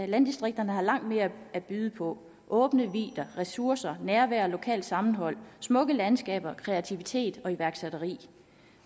landdistrikterne har langt mere at byde på åbne vidder ressourcer nærvær lokalt sammenhold smukke landskaber kreativitet og iværksætteri